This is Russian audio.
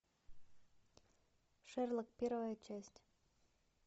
шерлок первая часть